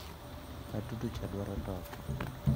Atudo cha dwaro toko.